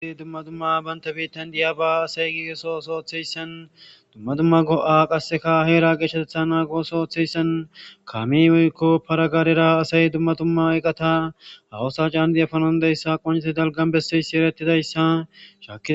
Ee dumma dumma banita bitanni diyabba asayi baa osuwa oththiyissanne dumma dumma go'a qasekka hera geshshateththa nago oso othiyiyassanni kameyi woyikko para garera asayi dumma dumma eqata baa osuwa cannidi efanawu danidayisa qoncissi besiya issa atid issa shakkidi